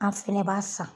An fɛnɛ b'a san